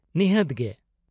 ᱱᱤᱦᱟ.ᱛ ᱜᱮ᱾